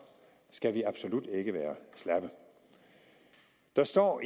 skal vi absolut ikke være slappe der står